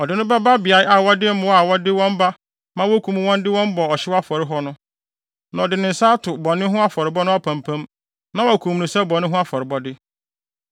Ɔde no bɛba beae a wɔde mmoa a wɔde wɔn ba ma wokum wɔn de wɔn bɔ ɔhyew afɔre hɔ no, na ɔde ne nsa ato bɔne ho afɔrebɔde no apampam na wakum no sɛ bɔne ho afɔrebɔde.